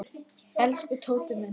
Elsku Tóti minn.